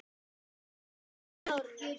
Smá lokk af hárinu.